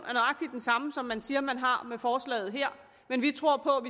er samme som man siger man har med forslaget her men vi tror på